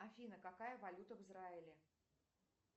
афина какая валюта в израиле